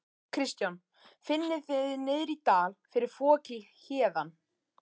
Kristján: Finnið þið niðri í dal fyrir foki héðan?